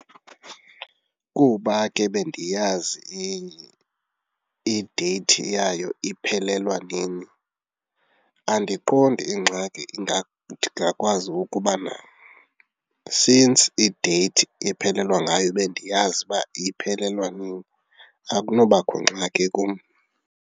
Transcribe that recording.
Kuba ke bendiyazi ideyithi yayo iphelelwa nini, andiqondi ingxaki ndingakwazi ukubana since ideyithi iphelelwa ngayo bendiyazi uba iphelelwa nini, akunobakho ngxaki kum.